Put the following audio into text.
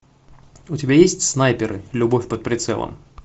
у тебя есть снайперы любовь под прицелом